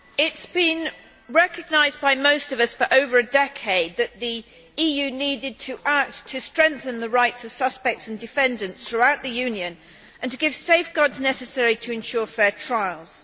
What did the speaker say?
Madam President, it has been recognised by most of us for over a decade that the EU needed to act to strengthen the rights of suspects and defendants throughout the Union and to give safeguards necessary to ensure fair trials.